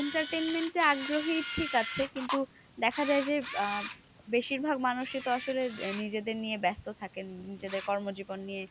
entertainment এ আগ্রহী ঠিক আছে, কিন্তু দেখা যায় যে আহ বেশিরভাগ মানুষই তো আসলে নিজেদের নিয়ে ব্যাস্ত থাকেন। নিজেদের কর্মজীবন নিয়ে